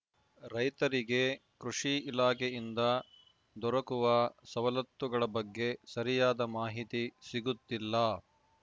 ರೈತರಿಗೆ ಕೃಷಿ ಇಲಾಖೆಯಿಂದ ದೊರಕುವ ಸವಲತ್ತುಗಳ ಬಗ್ಗೆ ಸರಿಯಾದ ಮಾಹಿತಿ ಸಿಗುತ್ತಿಲ್ಲ